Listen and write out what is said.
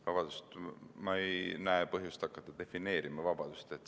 Vabandust, aga ma ei näe põhjust hakata defineerima vabadust.